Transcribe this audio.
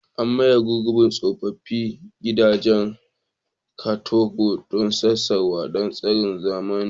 An maye gurbin tsoffin gidajen katako na Sakkwato da tsarin zamani.